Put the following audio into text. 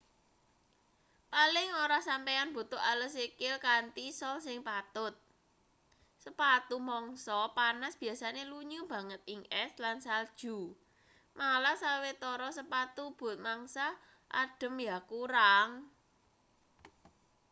paling ora sampeyan butuh ales sikil kanthi sol sing patut sepatu mangsa panas biasane lunyu banget ing es lan salju malah sawetara sepatu but mangsa adhem ya kurang